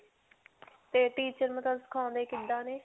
ਤੇ teacher ਮਤਲਬ ਸਿਖਾਉਂਦੇ ਕਿੱਦਾਂ ਨੇ?